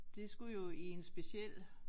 Det skulle jo i en speciel